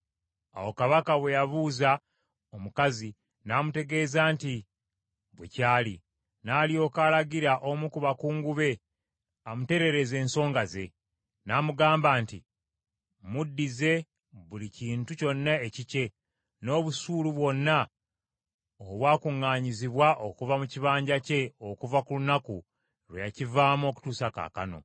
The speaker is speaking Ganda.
Awo kabaka bwe yabuuza omukazi, n’amutegeeza nti bwe kyali. N’alyoka alagira omu ku bakungu amutereereze ensonga ze; n’amugamba nti, “Muddize buli kintu kyonna ekikye, n’obusuulu bwonna obwa kuŋŋaanyizibwa okuva mu kibanja kye okuva ku lunaku lwe yakivaamu okutuusa kaakano.”